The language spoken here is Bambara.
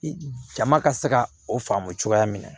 Jama ka se ka o faamu cogoya min na